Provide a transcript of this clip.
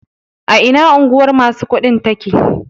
A ina unguwar masu kuɗin take?